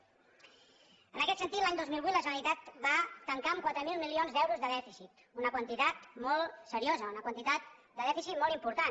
en aquest sentit l’any dos mil vuit la generalitat va tancar amb quatre mil milions d’euros de dèficit una quantitat molt seriosa una quantitat de dèficit molt important